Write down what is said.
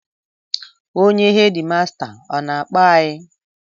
Onye hedịmasta ọ na-akpọ anyị?